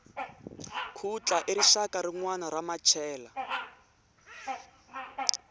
khutla i rixaka rinwana ra machela